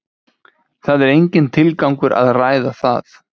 Það er enginn tilgangur að ræða það.